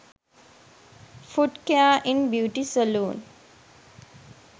foot care in beauty saloon